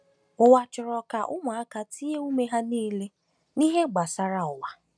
Ụwa chọrọ ka ụmụaka tinye ume ha niile n’ihe gbasara ụwa.